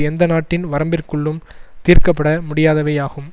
எந்த நாட்டின் வரம்பிற்குள்ளும் தீர்க்க பட முடியாதவையாகும்